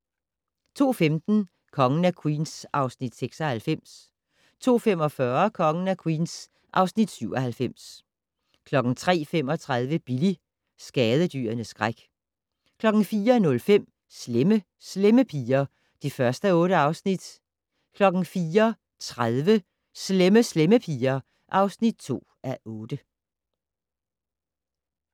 02:15: Kongen af Queens (Afs. 96) 02:45: Kongen af Queens (Afs. 97) 03:35: Billy - skadedyrenes skræk 04:05: Slemme Slemme Piger (1:8) 04:30: Slemme Slemme Piger (2:8)